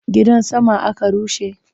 Gidan saman aka rushe?